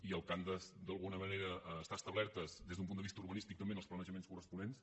i el que han d’estar és establertes des d’un punt de vista urbanístic també en els planejaments corresponents